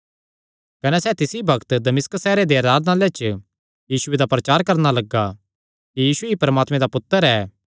कने सैह़ तिसी बग्त दमिश्क सैहरे दे आराधनालयां च यीशुये दा प्रचार करणा लग्गा कि यीशु ई परमात्मे दा पुत्तर ऐ